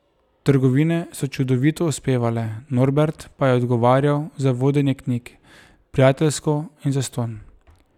Trgovine so čudovito uspevale, Norbert pa je odgovarjal za vodenje knjig, prijateljsko in zastonj.